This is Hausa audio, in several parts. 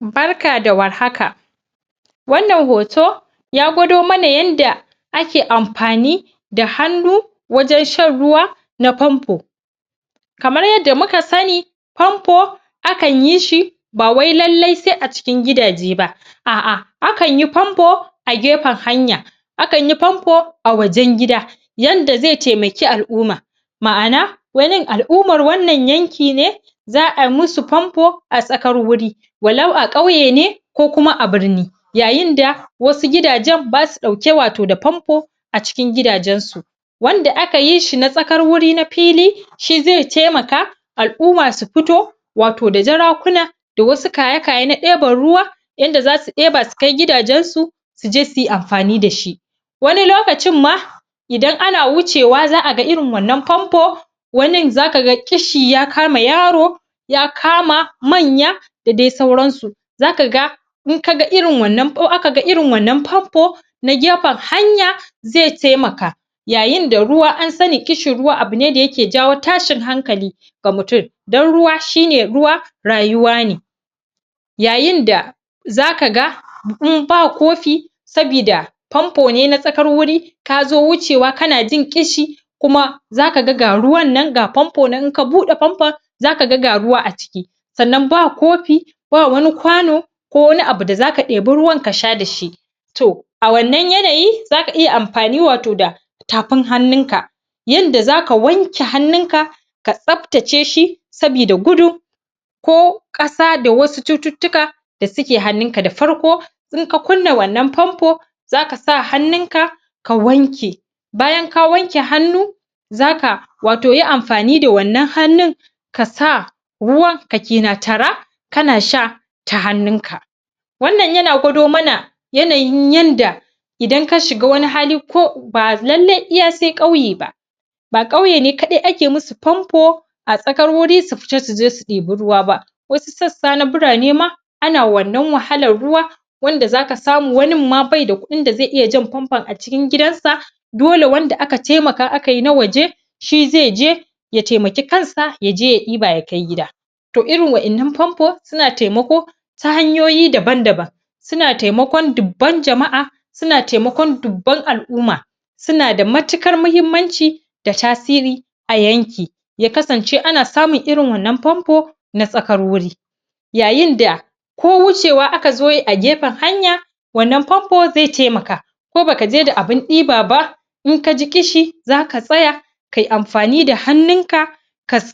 barka da war haka wannan hoto ya gwado mana yanda ake amfani da hannu wajen shan ruwa na panpo kamar yadda mua sani panpo akan yi shi bawai lalle sai a cikin gida je ba ah ah akan yi panpo a gefen hanya akan yi panpo a wajen gida yanda zai taimake al'uma ma'ana wanin al'umar wannan yankin ne za'a musu panpo a tsakar wuri a lau a kauye ne ko kuma a birni yayin da wasu gidajen basu dauke da wato papnpo a cikin gidajen su wanda aka yi shina tsakar wuri na fili shi zai taimaka al'uma su fito wato da jarakuna da wasu kaye kaye na deban ruwa yanda zasu deba su kai gidajen su suje suyi amfani dashi wani lokacin ma idan ana wuce wa za'a ga irin wannan panpon wanin zaka ga kishi ya kama yaro ya kama manya da dai sauran su zaka ga in aka ga irin wannan anpo na gefen hanya zai taimaka yayin da ruwa an sani kishin ruwa abu ne da yake jawo tashin hankali ga mutum dan ruwa shine ruwa rayuwa ne yayin da zaka ga in ba kofi sabida panpo ne na tsakar wuri kazo wuce wa kana jin kishi kuma zaka ga ga ruwan nan ga panpo nan in ka bud panpo zaka ga ga ruwa a ciki sannan ba kofi ba wani kwano ko wani abu da zaka deba ruwan ka sha da shi to a wannan yayi zaka iya amfani wato da tafin hannun ka yanda zaka wanke hannun ka ka tsaftace shi sabida gudun ko kasa da wasu cututtuka da suke hannun ka da farko in ka kunna wannan panpo zaka sa hannun ka ka wanke bayan ka wanke hannu zaka wato yi amfani da wannan hannun kasa ruwan ka kena tara kana sha ta hannun ka wannan yana gudo mana yanayin yanda idan ka shiga wani hali ba lalle sai iya kauye ba ba kauye ne kadai ake musu panpo a tsakar wuri su fita suje su diba ruwa ba wasu sassa na burane ma ana wannan wahalan na ruwa wanda zaka samu wanin ma bai da kudin da zai iya jan panpon a cikin gidan sa dole wanda aka taimaka aka yi na waje shi zai je ya taimaki kan sa yaje ya iba ya kai gida to irin wa 'yan nan panpo suna taimako ta hanyoyi daban daban una taikmakon dubban jama'a suna taimakon dubban al'uma sunada matikar mahimmanci da tasiri a yanki ya kasance ana samun irin wannan panpo na tsakar wuri yayin da ko wuce wa aka zo yi a gefen hanya wannan panpo zai taimaka ko baka je da abun iba ba in kaji kishi zaka tsaya kai amfani da hannun ka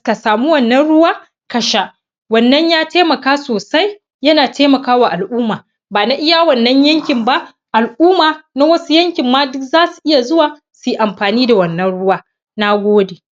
ka samu wannna ruwa ka sha wannan ya taimaka sosai yana taimaka wa al'uma ba na iya wannan yankin ba al'uma na wasu yankin ma duk zasu iya zuwa suyi amfani da wannan riwa na gode